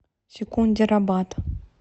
секундерабад